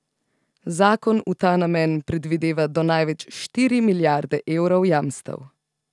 Zakon v ta namen predvideva do največ štiri milijarde evrov jamstev.